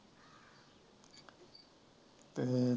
ਹੂੰ